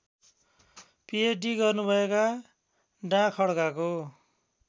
pH D गर्नुभएका डाखड्काको